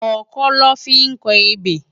Òkõ lõ fi n kò ébé